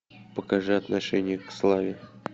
покажи отношение к славе